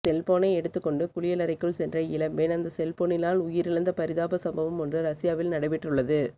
செல்போனை எடுத்துக்கொண்டு குளியலறைக்குள் சென்ற இளம்பெண் அந்த செல்போனினால் உயிரிழந்த பரிதாப சம்பவம் ஒன்று ரஷ்யாவில் நடைபெற்றுள்ளது